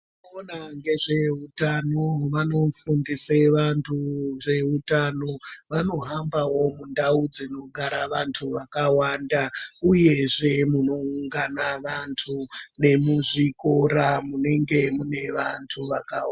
Vanoona ngezveutano vanofundise vantu zveutano vanohambawo mundau dzinogara vantu vakawanda uyezve munoungana vantu nemuzvikora munenenge mune vantu vakawanda.